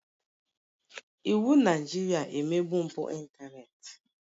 Iwụ Naịjirịa emegbu mpụ ịntanetị.